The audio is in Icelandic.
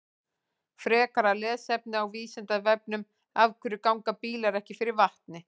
Frekara lesefni á Vísindavefnum: Af hverju ganga bílar ekki fyrir vatni?